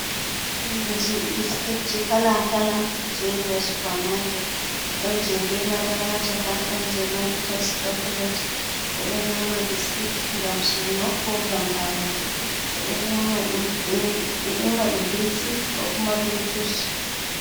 Dereji biskitji kala kala do jeriya supermarket don je be madara hacaka don je mari test choklate be do nyama biskit gam suno ko gam harande bedo yema dum be ti ko kuma be jus.